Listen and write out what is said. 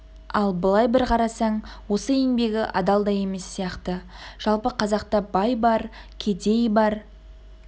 ал былай бір қарасаң осы еңбегі адал да емес сияқты жалпы қазақта бай бар кедей бар